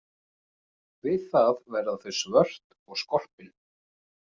Við það verða þau svört og skorpin.